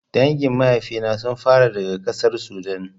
Dangin maifina sun faro daga ƙasar Sudan